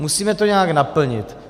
Musíme to nějak naplnit.